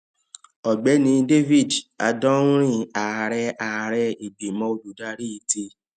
ọgbẹni david adonri ààrẹ ààrẹ ìgbìmò olùdarí ti